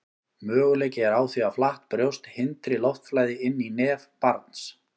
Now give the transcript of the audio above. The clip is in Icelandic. möguleiki er á því að flatt brjóst hindri loftflæði inn í nef barns